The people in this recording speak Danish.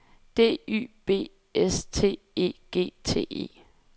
D Y B S T E G T E